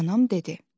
Anam dedi.